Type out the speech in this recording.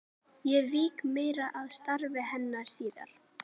Ég vík meira að starfi hennar síðar.